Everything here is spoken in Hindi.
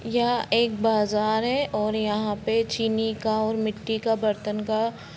यहाँ एक बाज़ार है और यहाँ पे चीनी का और मिट्टी का बर्तन का--